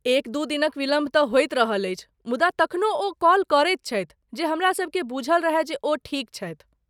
एक दू दिनक विलम्ब तँ होइत रहल अछि, मुदा तखनो ओ कॉल करैत छथि जे हमरासबकेँ बुझल रहय जे ओ ठीक छथि।